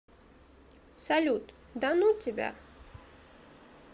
салют да ну тебя